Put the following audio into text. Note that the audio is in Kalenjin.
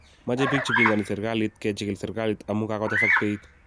Mache bik chepingani serikalit kechigil serikalit amu kagotesak denit